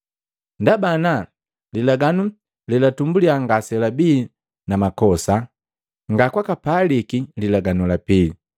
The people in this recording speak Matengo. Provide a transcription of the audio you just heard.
Ndaba ana lilaganu lelatumbulia ngaselabii na makosa, nga kwaka paliki lilaganu la pili.